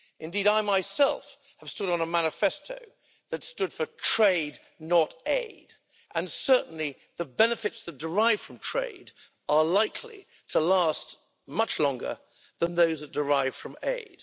I myself have stood on a manifesto calling for trade, not aid', and certainly the benefits that derive from trade are likely to last much longer than those that derive from aid.